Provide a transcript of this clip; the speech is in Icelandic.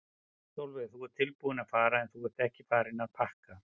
Sólveig: Þú ert tilbúinn að fara en þú ert ekki farinn að pakka?